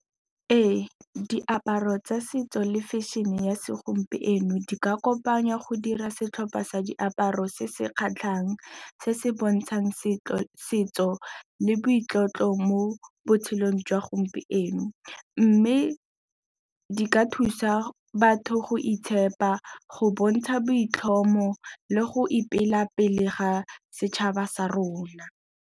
Ee, diaparo tsa setso le fashion-e ya segompieno di ka kopanngwa go dira setlhopha sa diaparo se se kgatlhang, se se bontšang setso le boitlotlo mo botshelong jwa gompieno, mme di ka thusa batho go itshepa, go bontsha boitlhomo le go ipela mo pele ga setšhaba sa rona.